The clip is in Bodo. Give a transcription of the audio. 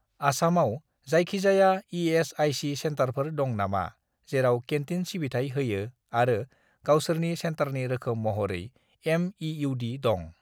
आसामआव जायखिजाया इ.एस.आइ.सि. सेन्टारफोर दं नामा जेराव केन्टिन सिबिथाय होयो आरो गावसोरनि सेन्टारनि रोखोम महरै एम.इ.इउ.डी. दं?